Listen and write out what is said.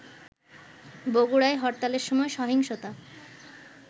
বগুড়ায় হরতালের সময় সহিংসতা